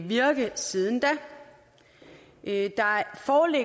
virke siden da